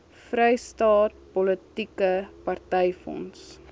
vrystaat politieke partyfonds